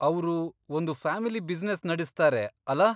ಅವ್ರು ಒಂದು family business ನಡೆಸ್ತಾರೆ, ಅಲಾ?